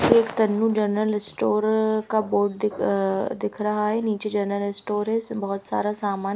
ये एक Tannu general store का बोर्ड दिख दिख रहा है नीचे जनरल स्टोर है इसमें बहुत सारा सामान --